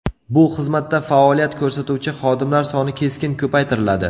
Bu xizmatda faoliyat ko‘rsatuvchi xodimlar soni keskin ko‘paytiriladi.